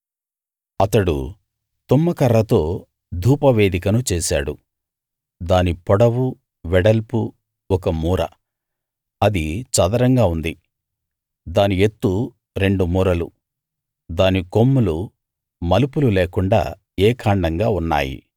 అతడు తుమ్మకర్రతో ధూపవేదికను చేశాడు దాని పొడవు వెడల్పు ఒక మూర అది చదరంగా ఉంది దాని ఎత్తు రెండు మూరలు దాని కొమ్ములు మలుపులు లేకుండా ఏకాండంగా ఉన్నాయి